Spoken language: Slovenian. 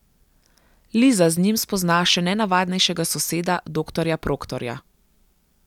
Liza z njim spozna še nenavadnejšega soseda doktorja Proktorja.